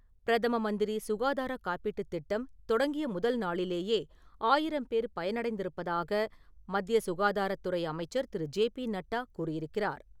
பிரதம மந்திரி சுகாதார காப்பீட்டுத் திட்டம் தொடங்கிய முதல் நாளிலேயே ஆயிரம் பேர் பயனடைந்திருப்பதாக மத்திய சுகாதாரத்துறை அமைச்சர் திரு. ஜே பி நட்டா கூறியிருக்கிறார்.